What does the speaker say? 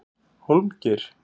Hólmgeir